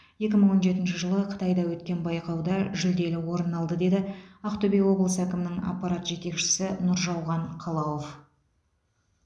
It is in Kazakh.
екі мың он жетінші жылы қытайда өткен байқауда жүлделі орын алды деді ақтөбе облысы әкімінің аппарат жетекшісі нұржауған қалауов